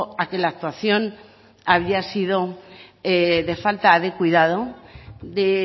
a que la actuación había sido de falta de cuidado de